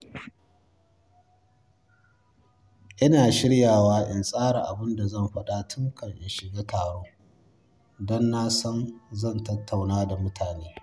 Ina shiryawa in tsara abin da zan faɗa tun kafin in shiga taro da na san zan tattauna da mutane.